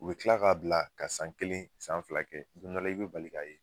U be tila k'a bila ka san kelen san fila kɛ, don dɔ la i be bali k'a ye